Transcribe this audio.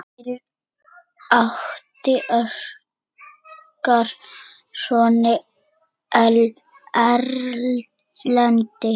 Fyrir átti Óskar soninn Erlend.